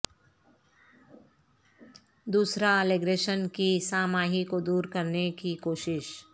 دوسرا لیگریشن کی سہ ماہی کو دور کرنے کی کوشش